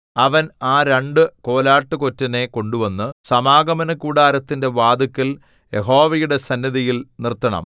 അവൻ ആ രണ്ടു കോലാട്ടുകൊറ്റനെ കൊണ്ടുവന്നു സമാഗമനകൂടാരത്തിന്റെ വാതില്ക്കൽ യഹോവയുടെ സന്നിധിയിൽ നിർത്തണം